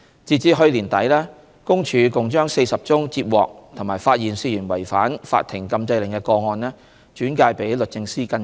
截至去年年底，公署共將40宗接獲及發現涉嫌違反法庭禁制令的個案轉介予律政司跟進。